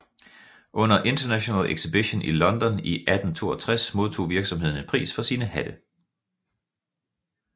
Under International Exhibition i London i 1862 modtog virksomheden en pris for sine hatte